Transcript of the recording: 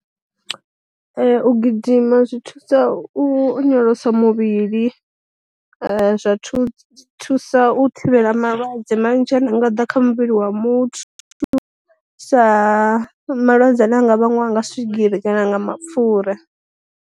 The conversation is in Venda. U gidima zwi thusa u onyolosa muvhili, zwa thusa u thivhela malwadze manzhi ane anga da kha muvhili wa muthu, sa malwadze ane a nga vhangiwa nga swigiri kana nga mapfura.